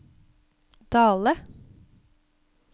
Dale